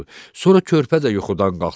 Sonra körpə də yuxudan qalxdı.